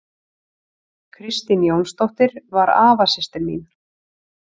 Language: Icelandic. Kristín Jónsdóttir var afasystir mín.